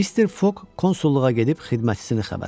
Mister Fogg konsulluğa gedib xidmətçisini xəbər aldı.